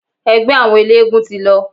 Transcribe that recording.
Ẹgbẹ́ àwọn eléegún ti lọ.